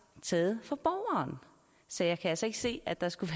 taget fra borgeren så jeg kan altså ikke se at der skulle